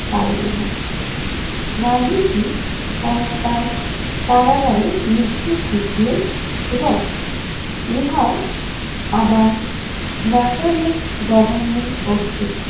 পাড়িলো না। গান্ধীজি কয়েকবার কারাগারে নিক্ষেপ এবং ইহাও আবার নাটলের গভর্নের কর্তৃক